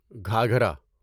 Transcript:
گھاگھرا